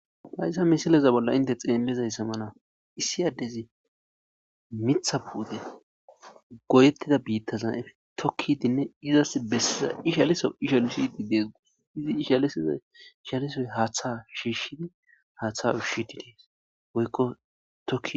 hayssa misileza bolla inte xeellezayssa mala issi addezi mitha pute goyettida biittaza7ef tokkidinne izas bessiza ishaliso ishalushidi deesgus izi ishalisiza ishalisoy haaththa shiishshidi haaththa ushiti dees woykko tokki